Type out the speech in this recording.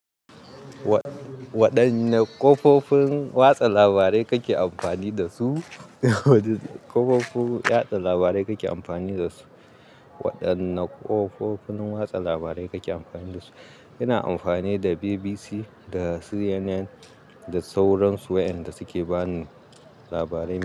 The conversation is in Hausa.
Wa-waɗanne ƙofofin watsa labarai kake amfani da su? Kafofin watsa labarai kake amfani da su? Waɗanne ƙofofin watsa labarai kake amfani da su? Ina amfani da BBC da CNN da sauransu, waɗanda suke bani labarai.